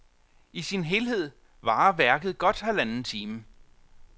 I sin helhed varer værket godt halvanden time.